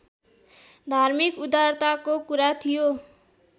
धार्मिक उदारताको कुरा थियो